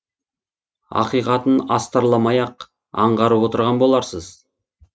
ақиқатын астарламай ақ аңғарып отырған боларсыз